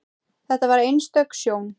Þetta var einstök sjón.